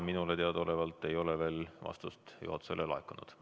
Minule teadaolevalt ei ole veel vastust juhatusele laekunud.